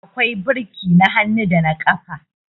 akwai birki na hannu da na ƙafa